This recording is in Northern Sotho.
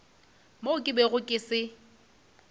mo ke bego ke se